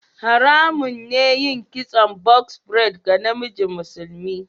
Haramun ne yin kitson "box braid" ga namiji musulmi.